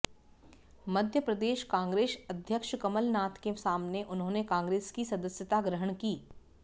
Madhya Pradesh Congress अध्यक्ष कमलनाथ के सामने उन्होंने कांग्रेस की सदस्यता ग्रहण की